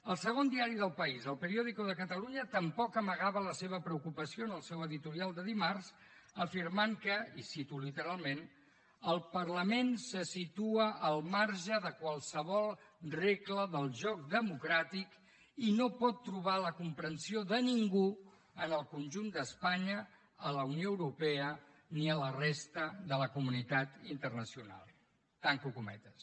el segon diari del país el periódico de catalunya tampoc amagava la seva preocupació en el seu editorial de dimarts afirmant que i cito literalment el parlament se situa al marge de qualsevol regla del joc democràtic i no pot trobar la comprensió de ningú en el conjunt d’espanya a la unió europea ni a la resta de la comunitat internacional tanco cometes